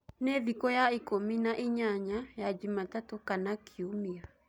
ni thĩkũ ya ĩkũmĩ naĩnyanya ya jumatatũ kana kĩumĩa